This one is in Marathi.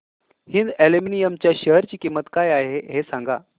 हिंद अॅल्युमिनियम च्या शेअर ची किंमत काय आहे हे सांगा